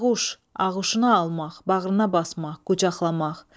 Dəraquş, aquşuna almaq, bağrına basmaq, qucaqlamaq.